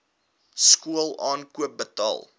skool aankoop betaal